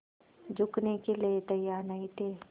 झुकने के लिए तैयार नहीं थे